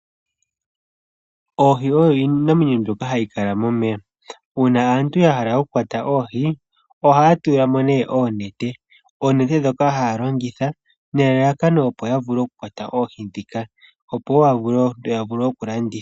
Oohi oyo iinamwenyo mbyoka hayi kala momeya. Uuna aantu yahala oku kwata oohi, ohaya tulamo nee oonete, oonete ndhoka hayalongitha nelalakano opo yavule oku kwata oohi ndhika, opo yavule okulanditha.